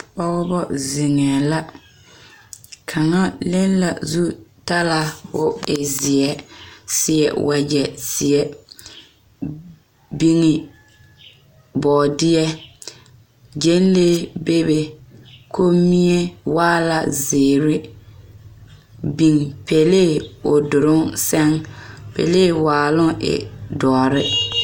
Pɔgeba zeŋɛɛ la kaŋa le la zutala k,o e zeɛ seɛ wagyɛ zeɛ biŋe bɔɔdeɛ gyɛnlee bebe kommie waa la zeere biŋ pelee o doloŋ seŋ pelee waaloŋ e dɔre.